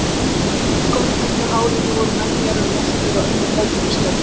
Í skolleitu hárinu voru menjar um mjaltir og önnur hefðbundin störf í fjósi.